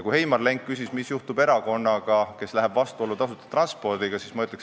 Heimar Lenk küsis, mis juhtub erakonnaga, kes läheb tasuta transpordiga vastuollu.